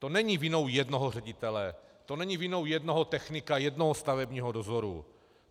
To není vinou jednoho ředitele, to není vinou jednoho technika, jednoho stavebního dozoru.